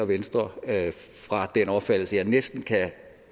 venstre fra den opfattelse jeg næsten kan